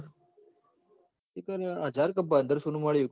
એતો લાયા હાજર ક પદ્સો નું મળું શ